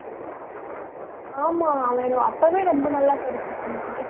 ஆமா அவன் அப்பவே ரொம்ப நல்லா படிச்சுட்டு இருந்தான்